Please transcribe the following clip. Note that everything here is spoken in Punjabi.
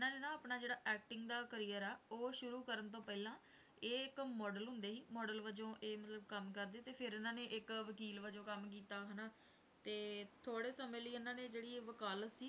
ਆਪਣਾ ਜਿਹੜਾ acting ਦਾ career ਆ, ਉਹ ਸ਼ੁਰੂ ਕਰਨ ਤੋਂ ਪਹਿਲਾਂ ਇਹ ਇੱਕ model ਹੁੰਦੇ ਸੀ model ਵਜੋਂ ਇਹ ਮਤਲਬ ਕੰਮ ਕਰਦੇ ਤੇ ਫਿਰ ਇਹਨਾਂ ਨੇ ਇੱਕ ਵਕੀਲ ਵਜੋਂ ਕੰਮ ਕੀਤਾ ਹਨਾ, ਤੇ ਥੋੜ੍ਹੇ ਸਮੇਂ ਲਈ ਇਹਨਾਂ ਨੇ ਜਿਹੜੀ ਵਕਾਲਤ ਸੀ